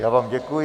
Já vám děkuji.